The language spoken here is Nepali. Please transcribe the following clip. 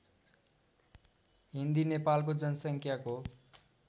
हिन्दी नेपालको जनसङ्ख्याको